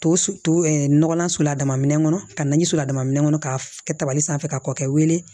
To to nɔgɔlan sola minɛn kɔnɔ ka na so la dama minɛ kɔnɔ ka kɛ tabali sanfɛ ka kɔkɔkɛ wele